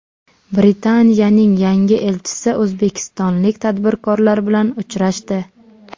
Britaniyaning yangi elchisi o‘zbekistonlik tadbirkorlar bilan uchrashdi.